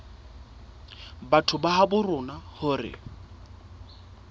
batho ba habo rona hore